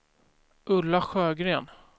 Ulla Sjögren